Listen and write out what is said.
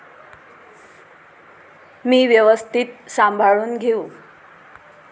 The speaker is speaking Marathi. मी व्यवस्थित सांभाळून घेऊ.